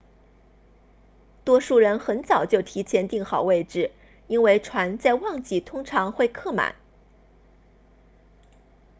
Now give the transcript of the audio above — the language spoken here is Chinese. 多数人很早就提前订好位置因为船在旺季通常会客满